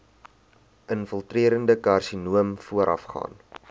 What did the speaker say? infiltrerende karsinoom voorafgaan